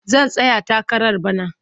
Zan tsaya takara bana.